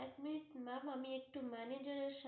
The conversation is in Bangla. এক minute ma'am আমি একটু manager এর সাথে কথা বলবো